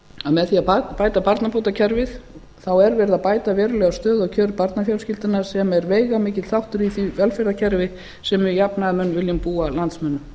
að með því að bæta barnabótakerfið þá er verið að bæta verulega stöðu og kjör barnafjölskyldunnar sem er veigamikill þáttur í því velferðarkerfi sem við jafnaðarmenn viljum búa landsmönnum